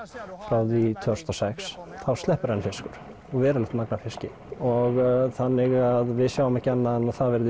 frá því tvö þúsund og sex þá sleppur enn fiskur og verulegt magn af fiski og þannig að við sjáum ekki annað en að það